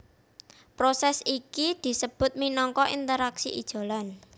Prosès iki disebut minangka interaksi ijolan